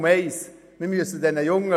Hier geht es vor allem um Eines: